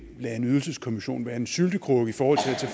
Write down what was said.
lade en ydelseskommission være en syltekrukke i forhold